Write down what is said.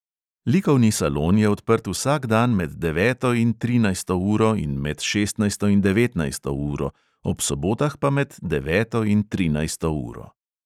Likovni salon je odprt vsak dan med deveto in trinajsto uro in med šestnajsto in devetnajsto uro, ob sobotah pa med deveto in trinajsto uro.